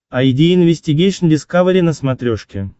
айди инвестигейшн дискавери на смотрешке